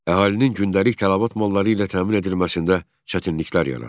Əhalinin gündəlik tələbat malları ilə təmin edilməsində çətinliklər yarandı.